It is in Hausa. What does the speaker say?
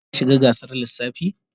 Shin ka shiga gasar lissafi?